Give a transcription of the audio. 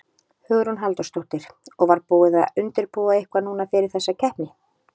Hugrún Halldórsdóttir: Og var búið að undirbúa eitthvað núna fyrir þessa keppni?